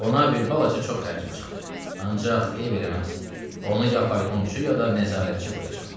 Ona bir balaca çox xərcim çıxdı, ancaq eyb eləməz, onu ya faytonçu, ya da nəzarətçi qoyacam.